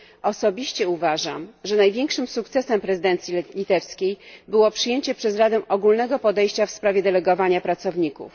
Osobiście uważam, że największym sukcesem prezydencji litewskiej było przyjęcie przez Radę ogólnego podejścia w sprawie delegowania pracowników.